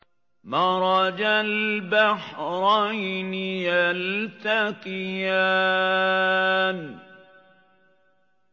مَرَجَ الْبَحْرَيْنِ يَلْتَقِيَانِ